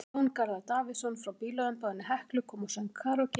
Jón Garðar Davíðsson frá bílaumboðinu Heklu kom og söng karókí.